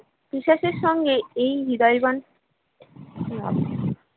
বিশেষের সঙ্গে এই হৃদয়বন